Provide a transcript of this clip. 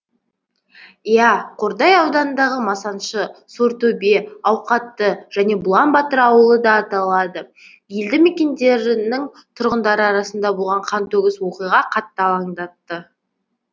иә қордай ауданындағы масаншы сортөбе ауқатты және бұлан батыр ауылы да аталады елді мекендерінің тұрғындары арасында болған қантөгіс оқиға қатты алаңдатты